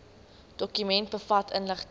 dokument bevat inligting